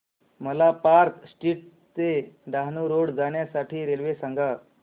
मला Park Street ते Dahanu road जाण्या साठी रेल्वे सांगा